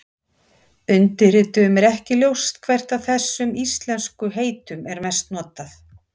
Undirrituðum er ekki ljóst hvert af þessum íslensku heitum er mest notað.